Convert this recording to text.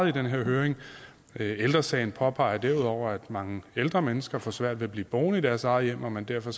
i den her høring ældre sagen påpeger derudover at mange ældre mennesker får svært ved at blive boende i deres eget hjem og man derfor